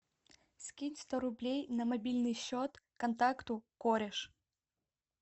скинь сто рублей на мобильный счет контакту кореш